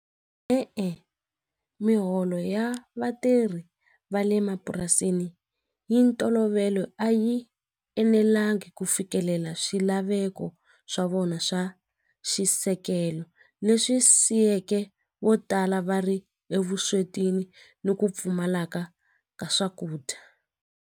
E-e, miholo ya vatirhi va le mapurasini yi ntolovelo a yi enelangi ku fikelela swilaveko swa vona swa xisekelo leswi siyeke vo tala va ri evuswetini ni ku pfumaleka ka swakudya.